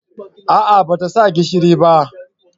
A'a ba ta sa gishiri ba